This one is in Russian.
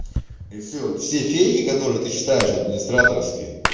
и все все фейки которые ты считаешь администраторские